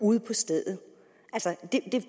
ude på stedet